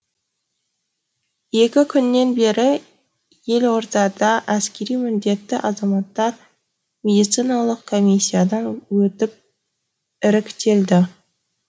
екі күннен бері елордада әскери міндетті азаматтар медициналық коммисиядан өтіп іріктелді